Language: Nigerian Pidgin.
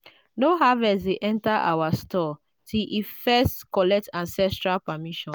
no harvest dey enter our store till e first collect ancestral permission.